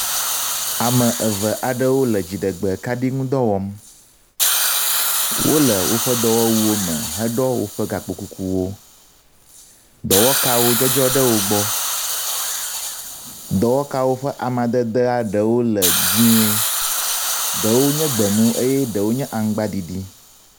Ame eve aɖewo le dziɖegbe kaɖi ŋudɔ wɔm. Wo le woƒe dɔwɔwuwo me heɖɔ woƒe gakpo kukuwo. Dɔwɔkawo dzɔdzɔ ɖe wo gbɔ. Dɔwɔkawo ƒe amadedea ɖewo le die ɖewo nye gbemu eye ɖewo nye aŋgbaɖiɖi.